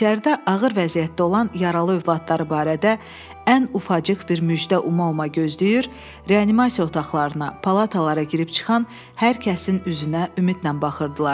İçəridə ağır vəziyyətdə olan yaralı övladları barədə ən ufacıq bir müjdə uma-uma gözləyir, reanimasiya otaqlarına, palatalara girib-çıxan hər kəsin üzünə ümidlə baxırdılar.